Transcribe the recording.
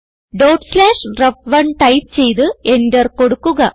dot slash റെഫ്1 type ചെയ്ത് enter കൊടുക്കുക